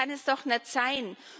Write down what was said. Das kann es doch nicht sein!